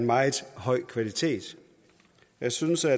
meget høj kvalitet jeg synes at